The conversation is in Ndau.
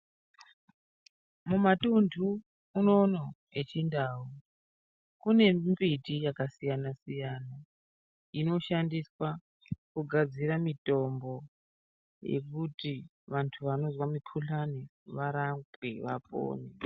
Mumatundu unono echindau kune mimbiti yakasiyana-siyana inoshandiswa kugadzira mitombo yekuti vantu vanozwa mikuhlani varapwe vapone.